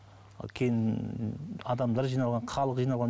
кейін адамдар жиналған халық жиналған